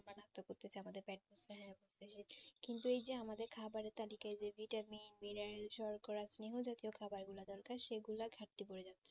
কিন্তু এই যে আমাদের খাবারের তালিকায় যে vitamin সর্করা খাবার গুলা দরকার সে গুলা ঘাটতি পরে যাবে